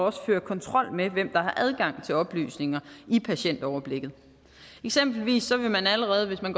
også føre kontrol med hvem der har adgang til oplysninger i patientoverblikket eksempelvis vil man allerede hvis man